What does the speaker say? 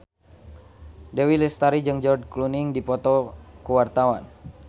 Dewi Lestari jeung George Clooney keur dipoto ku wartawan